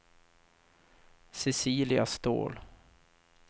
Cecilia Ståhl